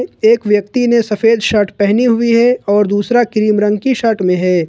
एक व्यक्ति ने सफेद शर्ट पहनी हुई है और दूसरा क्रीम रंग की शर्ट में है।